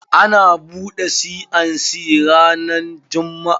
Ana buɗe C and C ranan jumm'a.